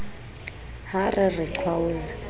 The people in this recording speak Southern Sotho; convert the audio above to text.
ha re re re qhwaolla